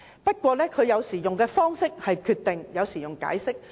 不過，它採用的方式有時是"決定"，有時是"解釋"。